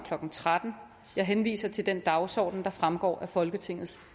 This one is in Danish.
klokken tretten jeg henviser til den dagsorden der fremgår af folketingets